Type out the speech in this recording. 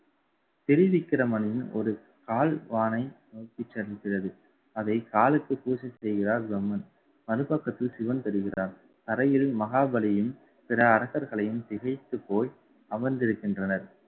திரு விக்கிரமணி ஒரு கால்வானை நோக்கி செல்கிறது அதை காலுக்கு பூச செய்கிறார் பிரம்மன். மறுபக்கத்தில் சிவன்தெரிகிறான் தரையில் மகாபலியும் பிற அரக்கர்களையும் திகைத்துப் போய் அமர்ந்திருக்கின்றனர்